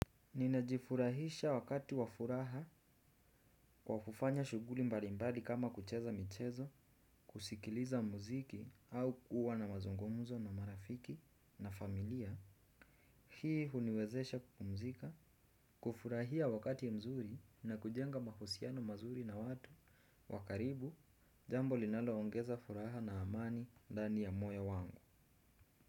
Ninajifurahisha wakati wafuraha kwa kufanya shughuli mbalimbali kama kucheza michezo, kusikiliza muziki au kuwa na mazungumzo na marafiki na familia. Hii huniwezesha kupumzika, kufurahia wakati mzuri na kujenga mahusiano mazuri na watu wa karibu jambo linaloongeza furaha na amani ndani ya moyo wangu.